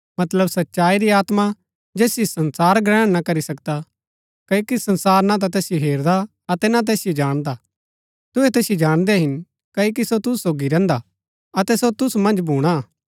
मतलब सच्चाई री आत्मा जैसियो संसार ग्रहण ना करी सकदा क्ओकि संसार ना तैसिओ हेरदा अतै ना तैसिओ जाणदा हा तुहै तैसिओ जाणदै हिन क्ओकि सो तुसू सोगी रैहन्दा हा अतै सो तुसू मन्ज भूणा